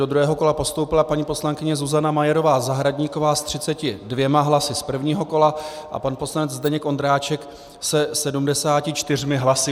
Do druhého kola postoupila paní poslankyně Zuzana Majerová Zahradníková s 32 hlasy z prvního kola a pan poslanec Zdeněk Ondráček se 74 hlasy.